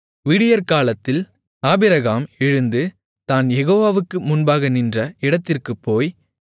விடியற்காலத்தில் Abraham எழுந்து தான் யெகோவாவுக்கு முன்பாக நின்ற இடத்திற்குப் போய்